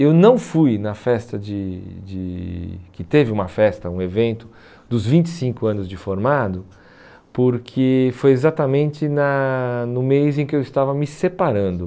Eu não fui na festa de de, que teve uma festa, um evento, dos vinte e cinco anos de formado, porque foi exatamente na no mês em que eu estava me separando.